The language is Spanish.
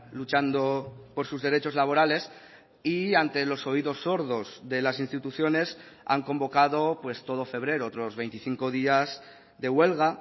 luchando por sus derechos laborales y ante los oídos sordos de las instituciones han convocado pues todo febrero otros veinticinco días de huelga